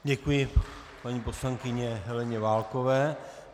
Děkuji paní poslankyni Heleně Válkové.